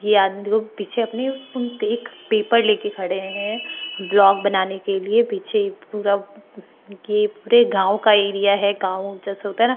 ये आदमी देखो पीछे अपने फून देख पेपर लेके खडे है व्हलॉग बनाने के लिए पीछे पूरा ये पूरे गाँव का एरिया है गाँव जैसा होता है न--